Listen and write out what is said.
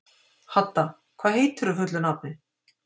Hadda, hvað heitir þú fullu nafni?